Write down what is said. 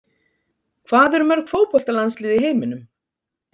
Hvað eru mörg fótboltalandslið í heiminum?